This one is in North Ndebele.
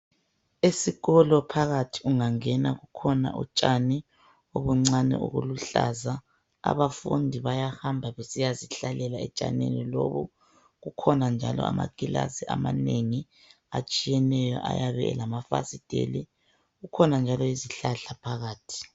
Esikolo phakathi ungangena kukhona utshani oluncane oluluhlaza. Abafundi bayahamba besiya zihlalela etshanini lobo. Kukhona njalo amagilazi amanengi atshiyeneyo ayabe elamafasitheli. Kukhona njalo izihlahla phakathi.